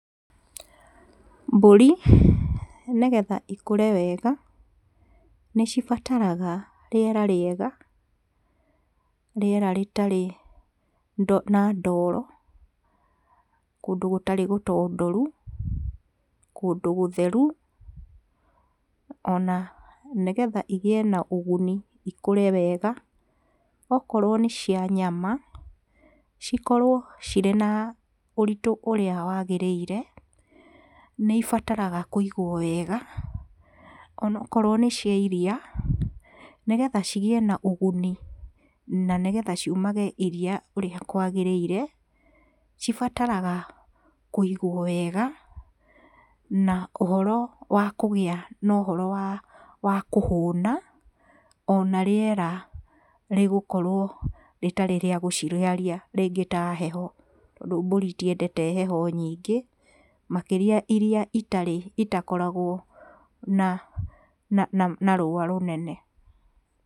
Mburi nĩgetha cikũre wega, nĩcibataraga rĩera rĩega, rĩera rĩtarĩ na ndoro, kũndũ gũtarĩ gũtondoru, kũndũ gũtheru, ona nĩgetha cigĩe na ũguni cikũre wega, okorwo nĩ cia nyama, cikorwo na ũritũ ũrĩa wagĩrĩire, nĩcibataraga kũigwo wega, onakorwo nĩ cia iria, nĩgetha cigĩe na ũguni, na nĩgetha cirutage iria ũrĩa kwagĩrĩire, cibataraga